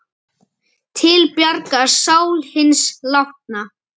Til bjargar sál hins látna.